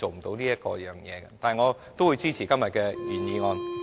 但是，我仍然會支持今天的原議案。